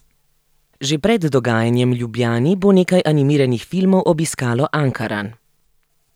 Že pred dogajanjem v Ljubljani bo nekaj animiranih filmov obiskalo Ankaran.